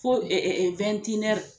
Fo